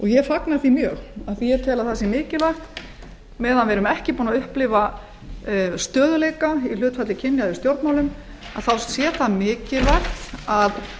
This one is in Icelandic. ég fagna því mjög af því að ég tel að það sé mikilvægi meðan við erum ekki búin að upplifa stöðugleika í hlutfalli kynja eða í stjórnmálum þá sé það mikilvægt að